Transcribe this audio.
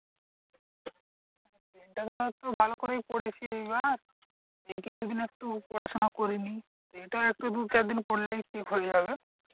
এটা ধর একটু ভালো করেই পড়েছি এইবার। এই কিছু দিন একটু পড়াশোনা করিনি। এটা একটু দু চার দিন পড়লেই ঠিক হয়ে যাবে।